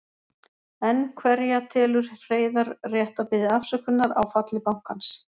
Enn hverja telur Hreiðar rétt að biðja afsökunar á falli bankans?